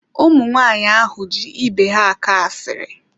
Ụmụ nwaanyị ahụ ji ibe ha akọ asiri.